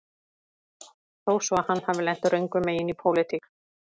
Þó svo að hann hafi lent röngum megin í pólitík